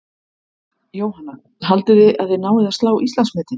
Jóhanna: Haldið þið að þið náið að slá Íslandsmetið?